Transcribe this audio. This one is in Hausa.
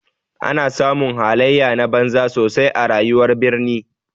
Ana samun halaye na banza sosai a rayuwar birni.